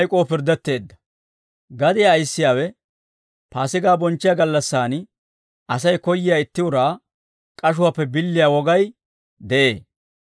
Gadiyaa ayissiyaawe Paasigaa bonchchiyaa gallassaan, Asay koyyiyaa itti uraa k'ashuwaappe billiyaa wogay de'ee.